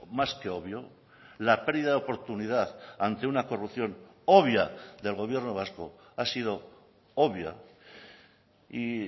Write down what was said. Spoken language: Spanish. más que obvio la pérdida de oportunidad ante una corrupción obvia del gobierno vasco ha sido obvia y